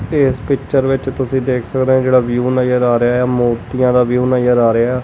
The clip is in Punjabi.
ਤੇ ਇਸ ਪਿੱਚਰ ਵਿੱਚ ਤੁਸੀਂ ਦੇਖ ਸਕਦੇ ਔ ਜਿਹੜਾ ਵਿਊ ਨਜਰ ਆ ਰਿਹਾ ਐ ਮੋਤੀਆਂ ਦਾ ਵਿਊ ਨਜਰ ਆ ਰਿਹਾ।